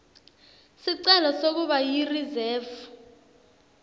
sicelo sekuba yirizefu